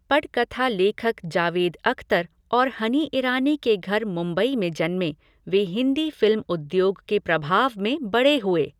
पटकथा लेखक जावेद अख्तर और हनी ईरानी के घर मुंबई में जन्मे, वे हिंदी फ़िल्म उद्योग के प्रभाव में बड़े हुए।